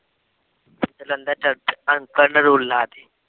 ਜਲੰਧਰ ਚਲੇ